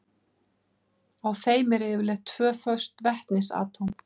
Á þeim eru yfirleitt tvö föst vetnisatóm.